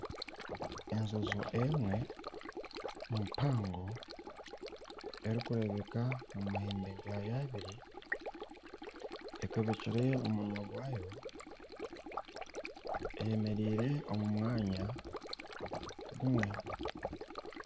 Enjojo emwe mpango erikureebeka omu mahembe gaayo abiri, ekabekire omunwa gwayo eyemereire omu mwanya gumwe.